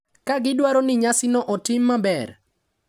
ka gidwaro ni nyasino otim maber.